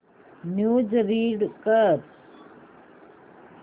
news read कर